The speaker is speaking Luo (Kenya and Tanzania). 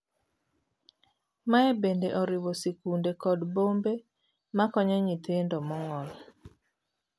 Mae bende oriwo sikunde kod bombe makonyo nyithindo mong'ol.